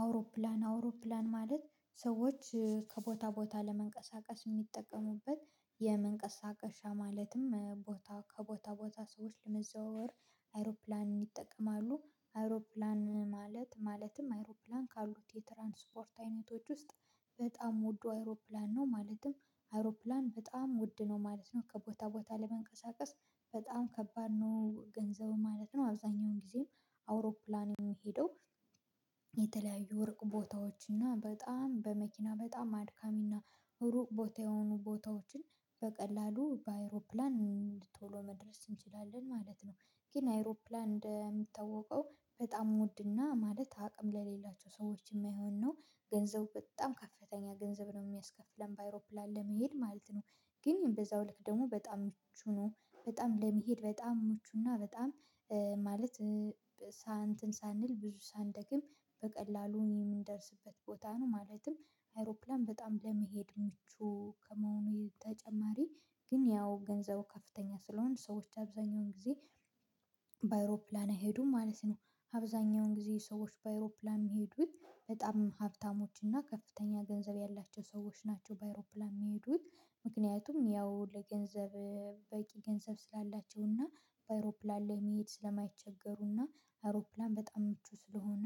አውሮፕላን አውሮፕላን ማለት ሰዎች ከቦታ ቦታ ለመንቀሳቀስ የሚጠቀሙበት የመንቀሳቀሻ ማለትም ቦታ ከቦታ ቦታ ሰዎች ለመዘዋወር አይሮፕላንን ይጠቀማሉ አይሮፕላን ማለት ማለትም አይሮፕላን ካሉት የትራንስፖርት አይነቶች ውስጥ በጣም ወድ አይሮፕላን ነው፤ ማለትም አይሮፕላን በጣም ውድ ነው ማለት ነው ከቦታ ቦታ ለመንቀሳቀስ በጣም ከባድ ነው ገንዘቡ ማለት ነው አብዛኛውን ጊዜም አውሮፕላን የሚሄደው የተለያዩ ሩቅ ቦታዎችና በጣም በመኪና በጣም አድካሚና ሩቅ ቦታ የሆኑ ቦታዎችን በቀላሉ በአይሮፕላን ቶሎ መድረስ እንችላለን ማለት ነው። ግን አይሮፕላን እንደምታወቀው በጣም ውድና ማለት አቅም ለሌላቸው ሰዎች የማይሆን ነው፤ ገንዘቡ በጣም ከፍተኛ ገንዘብ ነው የሚያስከፍለን በአይሮፕላን ለመሄድ ማለት ነው። ግን በዛው ልክ ደግሞ በጣም ምቹ ነው በጣም ለመሄድ በጣም ሞቹና በጣም ማለት ሳንል ብዙ ሳንደክም በቀላሉ የምንደርስበት ቦታ ነው፤ ማለትም አይሮፕላን በጣም ለመሄድ ምቹ ከመሆኑ ተጨማሪ ግን ያው ገንዘቡ ከፍተኛ ስለሆኑ ሰዎች አብዛኛውን ጊዜ በአይሮፕላን አይሄዱም ማለት ነው። አብዛኛው ግዜ ሰዎች በአይሮፕላን የሚሄዱት በጣም ሀብታሞች እና ከፍተኛ ገንዘብ ያላቸው ሰዎች ናቸው በአይሮፕላን የሚሄዱት። ምክንያቱም ያው ለገንዘብ በቂ ገንዘብ ስላላቸው እና በአይሮፕላን ላይ መሄድ ስለ ማይቸገሩ እና አይሮፕላን በጣም ምቹ ስለሆነ።